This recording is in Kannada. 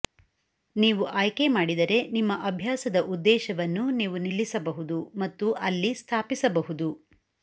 ನೀವು ಆಯ್ಕೆ ಮಾಡಿದರೆ ನಿಮ್ಮ ಅಭ್ಯಾಸದ ಉದ್ದೇಶವನ್ನು ನೀವು ನಿಲ್ಲಿಸಬಹುದು ಮತ್ತು ಅಲ್ಲಿ ಸ್ಥಾಪಿಸಬಹುದು